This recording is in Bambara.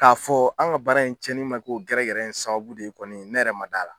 K'a fɔ an ka baara in cɛni ma kɛ o gɛrɛgɛrɛ in sababubu de ye kɔni ne yɛrɛ ma d'a la.